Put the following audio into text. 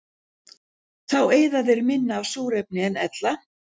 Þá eyða þeir minna af súrefni en ella.